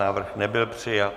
Návrh nebyl přijat.